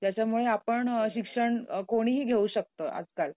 त्याच्यामुळे आपण शिक्षण अ कोणीही घेऊ शकतं, आजकाल